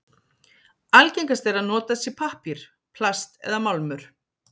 Algengast er að notað sé pappír, plast eða málmur.